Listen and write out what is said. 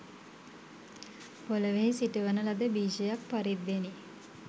පෙළොවෙහි සිටුවන ලද බීජයක් පරිද්දෙනි